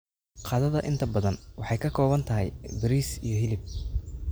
Qadada inta badan waxay ka kooban tahay bariis iyo hilib.